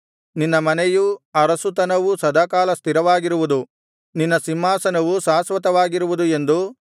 ನಿನ್ನ ಮನೆಯೂ ಅರಸುತನವೂ ಸದಾಕಾಲ ಸ್ಥಿರವಾಗಿರುವುದು ನಿನ್ನ ಸಿಂಹಾಸನವು ಶಾಶ್ವತವಾಗಿರುವುದು ಎಂದು